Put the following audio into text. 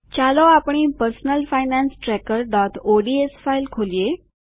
ચાલો આપણી personal finance tracker ODS file ખોલીએ